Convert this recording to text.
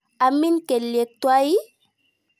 Amin kelyek twai ii?